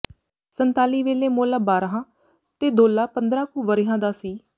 ਸੰਤਾਲੀ ਵੇਲੇ ਮੌਲਾ ਬਾਰ੍ਹਾਂ ਤੇ ਦੌਲਾ ਪੰਦਰਾਂ ਕੁ ਵਰ੍ਹਿਆਂ ਦਾ ਸੀ